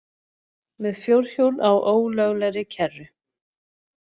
Með fjórhjól á ólöglegri kerru